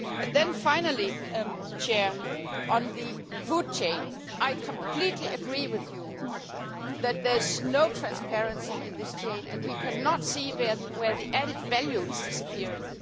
Then, finally, on the food chain, I completely agree with you that that there is no transparency in this chain and we cannot see where the added value is disappearing.